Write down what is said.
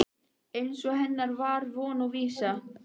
Eins og hennar var von og vísa.